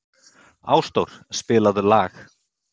Ásdór, spilaðu lag.